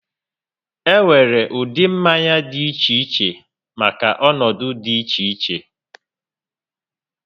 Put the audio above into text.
E nwere ụdị mmanya dị iche iche maka ọnọdụ dị iche iche